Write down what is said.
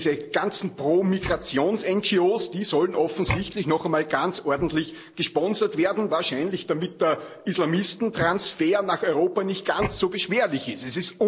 Diese ganzen Pro Migrations NGOs, die sollen offensichtlich noch einmal ganz ordentlich gesponsert werden, wahrscheinlich damit der Islamistentransfer nach Europa nicht ganz so beschwerlich ist.